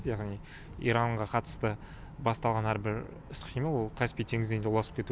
яғни иранға қатысты басталған әрбір іс қимыл ол каспий теңізіне де ұласып кету